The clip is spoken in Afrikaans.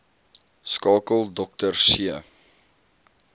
skakel dr c